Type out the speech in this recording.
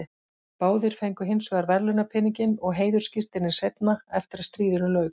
Báðir fengu hins vegar verðlaunapeninginn og heiðursskírteinin seinna, eftir að stríðinu lauk.